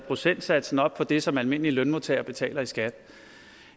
procentsatsen op i det som almindelige lønmodtagere betaler i skat